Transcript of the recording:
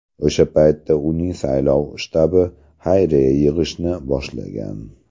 O‘sha paytdan uning saylov shtabi xayriya yig‘ishni boshlagan.